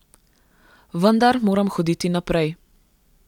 Vendar moram hoditi naprej.